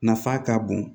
Nafa ka bon